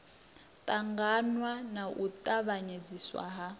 ṱangaṋwa na u tavhanyedziswa ha